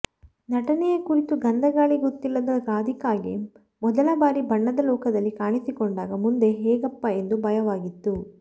ನಟನೆಯ ಕುರಿತು ಗಂಧ ಗಾಳಿ ಗೊತ್ತಿಲ್ಲದ ರಾಧಿಕಾಗೆ ಮೊದಲ ಬಾರಿ ಬಣ್ಣದ ಲೋಕದಲ್ಲಿ ಕಾಣಿಸಿಕೊಂಡಾಗ ಮುಂದೆ ಹೇಗಪ್ಪಾ ಎಂದು ಭಯವಾಗಿತ್ತು